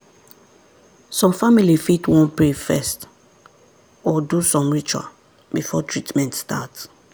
some family fit wan pray first or do some ritual before treatment start.